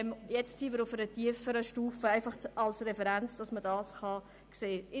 Nun sind wir auf einer tieferen Stufe, die als Referenz anzusehen ist.